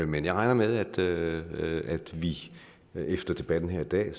men jeg regner med at vi efter debatten her i dag